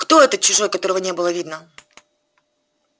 кто этот чужой которого не было видно